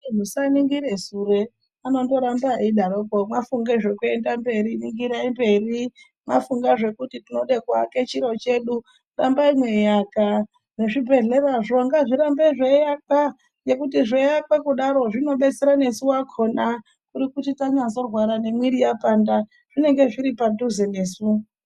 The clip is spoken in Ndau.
Musaningire sure anondoramba eidaroko mafunge zvekuenda mberi ningirai mberi. Mafunga zvekuti tinoda kuwaka chiro chedu rambai mweiaka nezvibhedhlerazvo ngazvirambe zveiakwa. Ngekuti zveiakwa kudaro zvinobetsera nesu vakona kuri kuti tanyazorwara nemwiri yapanda zvinenge zviripadhuze nesu.